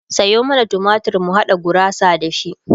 Sayo mana tumatir mu haɗa gurasa da shi